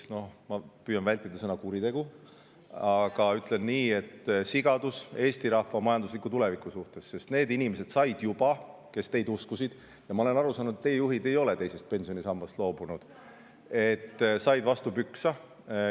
No ma püüan vältida sõna "kuritegu", aga ütlen nii, et see oli sigadus Eesti rahva majandusliku tuleviku suhtes, sest need inimesed, kes teid uskusid – ja ma olen aru saanud, et teie juhid ise ei ole teisest pensionisambast loobunud –, said vastu pükse.